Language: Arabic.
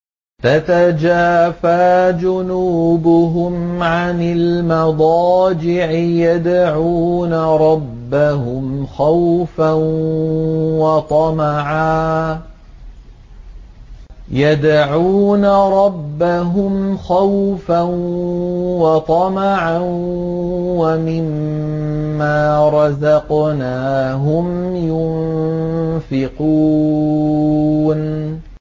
تَتَجَافَىٰ جُنُوبُهُمْ عَنِ الْمَضَاجِعِ يَدْعُونَ رَبَّهُمْ خَوْفًا وَطَمَعًا وَمِمَّا رَزَقْنَاهُمْ يُنفِقُونَ